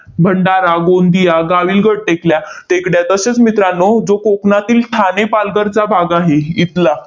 भंडारा, गोंदिया, गाविलगड टेकल्या टेकड्या तसेच मित्रांनो, जो कोकणातील ठाणे, पालघरचा भाग आहे इथला,